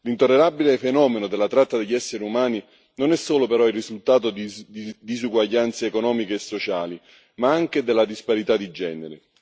L'intollerabile fenomeno della tratta degli esseri umani non è solo, però, il risultato di disuguaglianze economiche e sociali, ma anche della disparità di genere.